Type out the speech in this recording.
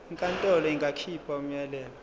inkantolo ingakhipha umyalelo